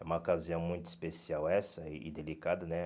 É uma ocasião muito especial essa e delicada, né?